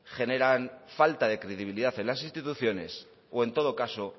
generan falta de credibilidad en las instituciones o en todo caso